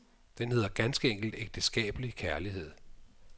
Den hedder ganske enkelt ægteskabelig kærlighed.